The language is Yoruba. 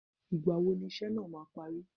Ìgbàwo ni iṣẹ́ náà máa parí